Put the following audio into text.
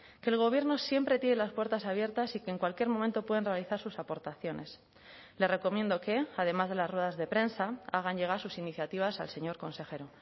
que el gobierno siempre tiene las puertas abiertas y que en cualquier momento pueden realizar sus aportaciones le recomiendo que además de las ruedas de prensa hagan llegar sus iniciativas al señor consejero